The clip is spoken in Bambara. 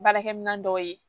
Baarakɛminɛn dɔw ye